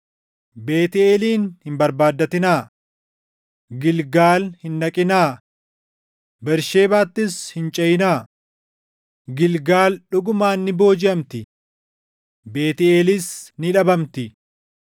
Beetʼeelin hin barbaaddatinaa; Gilgaal hin dhaqinaa; Bersheebaattis hin ceʼinaa. Gilgaal dhugumaan ni boojiʼamti; Beetʼeelis ni dhabamti.”